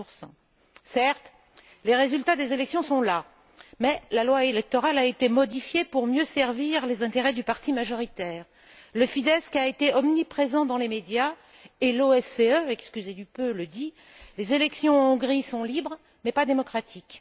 15 Certes, les résultats des élections sont là, mais la loi électorale a été modifiée pour mieux servir les intérêts du parti majoritaire. Le Fidesz a été omniprésent dans les médias et l'OSCE excusez du peu le dit Les élections en Hongrie sont libres mais pas démocratiques.